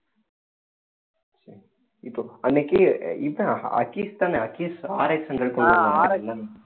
இப்போ அன்னைக்கு இவன்